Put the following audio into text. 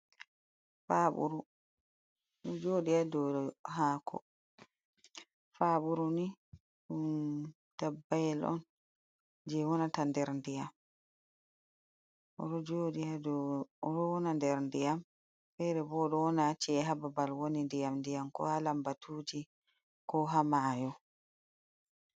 Paɓuru ɗo joɗi ha dou hako, paburuni ɗum dabbayel on je wonata nder ndiyam oɗo joɗi ha dou oɗo wona nder ndiyam fere bo oɗo wona ha ci'e ha babal woni ndiyam ndiyam ko ha lambatuji ko ha mayo.